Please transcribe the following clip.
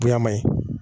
Ɲɛnama ye